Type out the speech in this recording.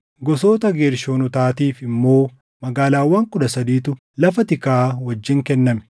Gosoota Geershoonotaatiif immoo magaalaawwan kudha sadiitu lafa tikaa wajjin kenname.